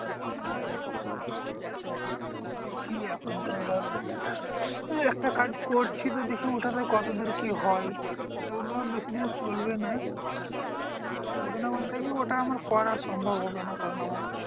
হ্যাঁ দেখি এখন তো ধর একটা কাজ করছি তো দেখি ওটাতে কতদূর কি হয়? তাও তো আর বেশিদিন চলবে না। চলবে না বলতে কি? ওটা আমার করা সম্ভব হবে না। কারণ আমার